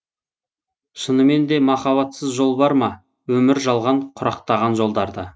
шыныменде махаббатсыз жол бар ма өмір жалған құрақтаған жолдарда